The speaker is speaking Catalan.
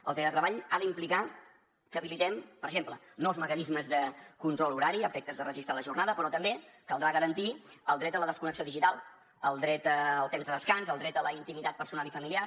el teletreball ha d’implicar que habilitem per exemple nous mecanismes de control horari a efectes de registrar la jornada però també caldrà garantir el dret a la desconnexió digital el dret al temps de descans el dret a la intimitat personal i familiar